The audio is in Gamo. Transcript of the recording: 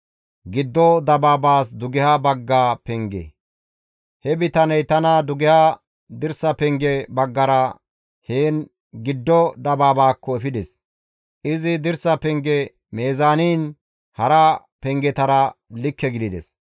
He bitaney tana dugeha dirsa penge baggara heni giddo dabaabaakko efides. Izi dirsa penge meezaaniin hara pengetara likke gidides.